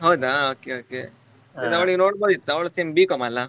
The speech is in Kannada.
ಹೌದಾ okay okay ಅದು ಅವಳು ನೋಡ್ಬೋದಿತ್ತು ಅವಳು same B.com ಆಲ್ಲಾ